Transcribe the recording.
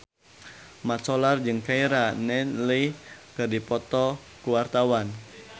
Mat Solar jeung Keira Knightley keur dipoto ku wartawan